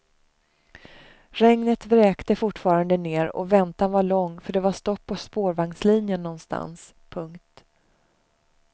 Regnet vräkte fortfarande ner och väntan var lång för det var stopp på spårvagnslinjen någonstans. punkt